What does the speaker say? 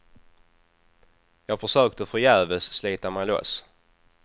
Jag försökte förgäves slita mig loss.